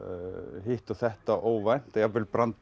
hitt og þetta óvænt jafnvel brandara